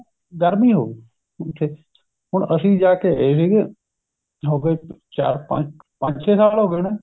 ਗਰਮੀ ਹੋ ਗਈ ਉਥੇ ਹੁਣ ਅਸੀਂ ਜਾਕੇ ਆਏ ਸੀਗੇ ਹੋਗੇ ਚਾਰ ਪੰਜ ਪੰਜ ਛੇ ਸਾਲ ਹੋ ਗਏ ਹੋਣੇ